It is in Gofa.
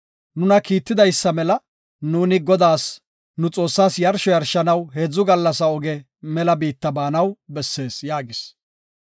Nuna kiitidaysa mela, nuuni Godaas, nu Xoossaas yarsho yarshanaw heedzu gallas oge mela biitta baanaw bessees” yaagis.